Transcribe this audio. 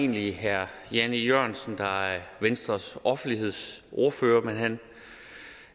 egentlig herre jan e jørgensen der er venstres offentlighedsordfører men han